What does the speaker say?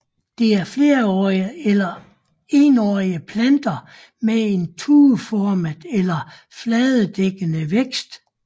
Det er flerårige eller enårige planter med en tueformet eller fladedækkende vækst